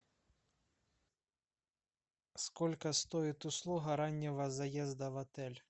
сколько стоит услуга раннего заезда в отель